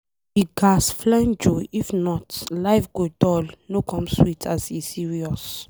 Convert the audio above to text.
We ghas flenjo if not life go dull no come sweet as e serious.